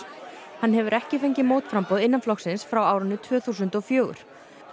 hann hefur ekki fengið mótframboð innan flokksins frá árinu tvö þúsund og fjögur